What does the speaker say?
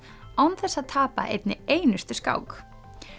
án þess að tapa einni einustu skák